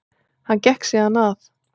Hann gekk síðan að